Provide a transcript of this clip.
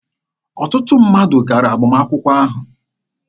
Ọtụtụ mmadụ gara agbamakwụkwọ ha.